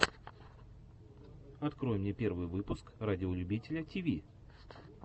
открой мне первый выпуск радиолюбителя тиви